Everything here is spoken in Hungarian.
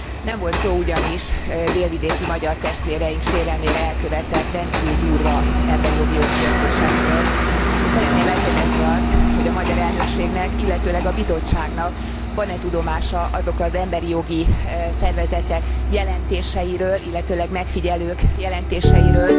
Nem volt szó ugyanis délvidéki magyar testvéreink sérelmére elkövetett rendkívül durva emberjogi jogsértésekről, és szeretném megkérdezni azt, hogy a magyar elnökségnek, illetőleg a Bizottságnak van e tudomása azokról az emberi jogi szervezetek jelentéseiről, illetőleg megfigyelők jelentéseiről,